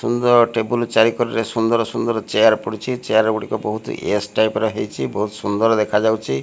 ସୁନ୍ଦର table ଚାରି କଡ଼ରେ ସୁନ୍ଦର ସୁନ୍ଦର ଚେୟାର ପଡିଛି ଚେୟାର ଗୁଡିକ ବହୁତ ବହୁତ ସୁନ୍ଦର ଦେଖାଯାଉଛି।